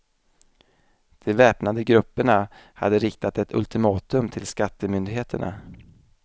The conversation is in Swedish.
De väpnade grupperna hade riktat ett ultimatum till skattemyndigheterna.